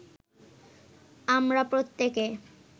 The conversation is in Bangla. আমরা প্রত্যেকে